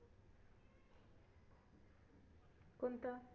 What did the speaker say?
कोणता